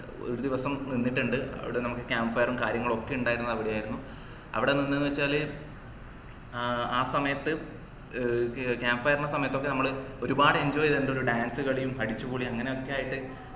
ഒരു ദിവസം നിന്നിട്ടുണ്ട് അവിടെ ഞങ്ങക്ക് camp fire ഉം കാര്യങ്ങളൊക്കെ ഇണ്ടായത് അവിടെയിരുന്നു അവിടെ നിന്ന് ന്നു വച്ചാല്ഏർ ആ സമയത്തു ഏർ camp fire ന്റെ സമയത്തൊക്കെ നമ്മള് ഒരുപാട് enjoy ചെയ്തിട്ടുണ്ട് dance കളിയും അടിച്ചുപൊളിയും അങ്ങനെയൊക്കെ ആയിട്ട്